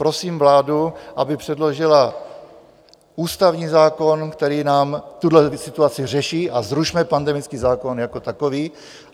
Prosím vládu, aby předložila ústavní zákon, který nám tuhletu situaci řeší, a zrušme pandemický zákon jako takový.